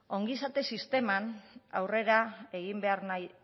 ongizate sisteman aurrera egin behar nahi